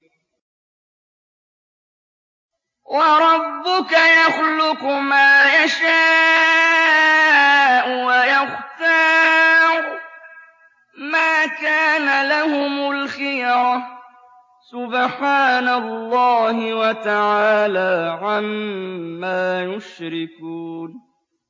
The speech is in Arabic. وَرَبُّكَ يَخْلُقُ مَا يَشَاءُ وَيَخْتَارُ ۗ مَا كَانَ لَهُمُ الْخِيَرَةُ ۚ سُبْحَانَ اللَّهِ وَتَعَالَىٰ عَمَّا يُشْرِكُونَ